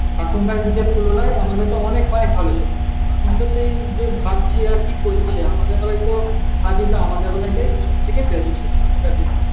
এখনকার দিনের তুলনায় আগে তো অনেক ভালোই ছিল এখন তো তো ভাবছি আর কি করবো আমাদের বেলায় সব থেকে বেশ ছিল